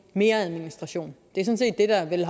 mere administration det er vel